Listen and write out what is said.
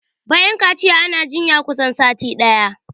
Bayan kaciya ana jinya na kusan sati ɗaya